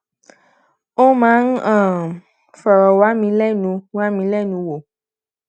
ó máa ń um fòrò wá mi lénu wá mi lénu wò